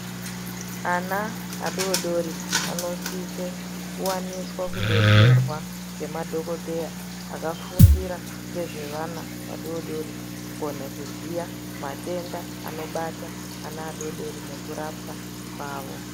Ana adodori anosise kuwaniswa kudetserwa ngemadhogodheya akafundira ngezvevana adodori kukone kuziya matenda anobata adodori nekurapwa kwavo.